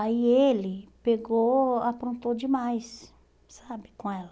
Aí ele pegou, aprontou demais, sabe, com ela.